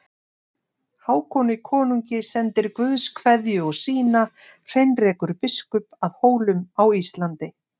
Hákoni konungi sendir Guðs kveðju og sína Heinrekur biskup að Hólum á Íslandi.